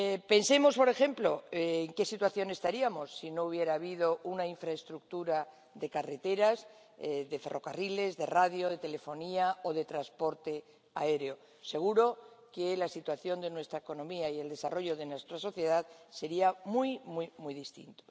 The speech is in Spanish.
Pensemos, por ejemplo, en qué situación estaríamos si no hubiera habido una infraestructura de carreteras, de ferrocarriles, de radio, de telefonía o de transporte aéreo seguro que la situación de nuestra economía y el desarrollo de nuestra sociedad sería muy, muy distinta.